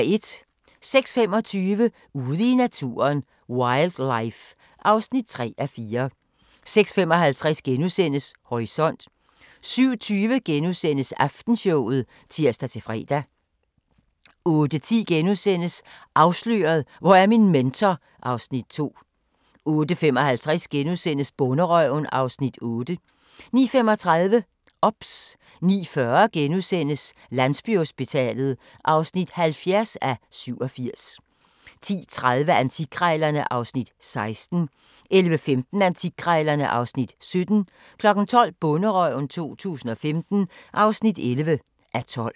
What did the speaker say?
06:25: Ude i naturen: Wildlife (3:4) 06:55: Horisont * 07:20: Aftenshowet *(tir-fre) 08:10: Afsløret – Hvor er min mentor? (Afs. 2)* 08:55: Bonderøven (Afs. 8)* 09:35: OBS 09:40: Landsbyhospitalet (70:87)* 10:30: Antikkrejlerne (Afs. 16) 11:15: Antikkrejlerne (Afs. 17) 12:00: Bonderøven 2015 (11:12)